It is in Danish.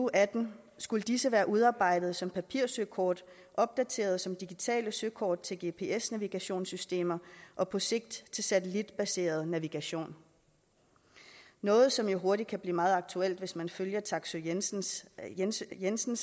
og atten skulle disse være udarbejdet som papirsøkort opdateret som digitale søkort til gps navigationssystemer og på sigt til satellitbaseret navigation noget som jo hurtigt kan blive meget aktuelt hvis man følger taksøe jensen jensen